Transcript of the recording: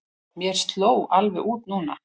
Mér sló alveg út núna.